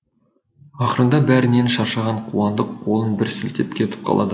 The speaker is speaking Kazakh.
ақырында бәрінен шаршаған қуандық қолын бір сілтеп кетіп қалады